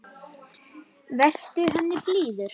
Vertu henni blíður.